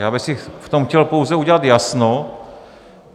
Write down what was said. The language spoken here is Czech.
Já bych si v tom chtěl pouze udělat jasno.